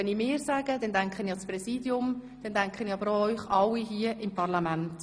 Wenn ich «wir» sage, denke ich an das Präsidium, aber auch an Sie alle hier im Parlament.